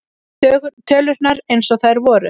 Tölurnar eins og þær voru.